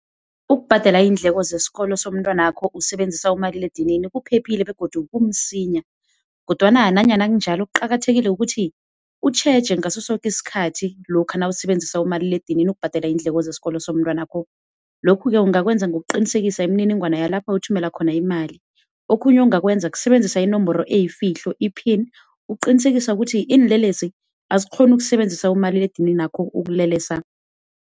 Ukubhadela iindleko zesikolo somntwanakho usebenzisa umaliledinini kuphephile begodu kumsinya, kodwana nanyana kunjalo kuqakathekile ukuthi utjheje ngaso soke isikhathi lokha nawusebenzisa umaliledinini ukubhadela iindleko zesikolo somntwanakho. Lokhu-ke, ungakwenza ngokuqinisekisa imininingwana yalapha uthumela khona imali. Okhunye ongakwenza, kusebenzisa inomboro eyifihlo, i-pin ukuqinisekisa ukuthi iinlelesi azikghoni ukusebenzisa umaliledininakho ukulelesa.